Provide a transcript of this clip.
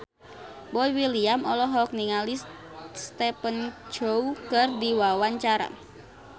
Boy William olohok ningali Stephen Chow keur diwawancara